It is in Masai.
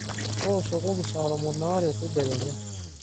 tooshokoki saa tomon aare tedekenya